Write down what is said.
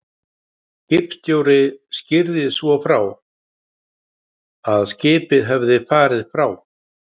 Skipstjóri skýrði svo frá, að skipið hefði farið frá